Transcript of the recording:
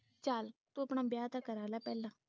ਚਲ ਤੂੰ ਆਪਣਾ ਵਿਆਹ ਕਰਵਾ ਲੈ ਪਹਿਲਾਂ